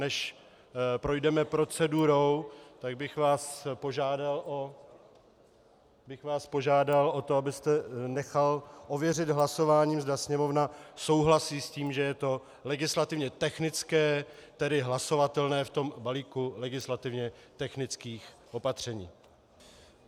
Než projdeme procedurou, tak bych vás požádal , tak bych vás požádal o to, abyste nechal ověřit hlasováním, zda Sněmovna souhlasí s tím, že je to legislativně technické, tedy hlasovatelné v tom balíku legislativně technických opatření.